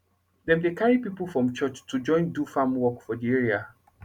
dem dey carry pipo from church to join do farm work for de area